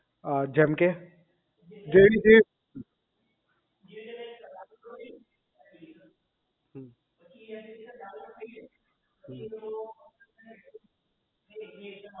અ જેમકે હમ હમ